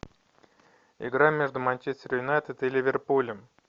игра между манчестер юнайтед и ливерпулем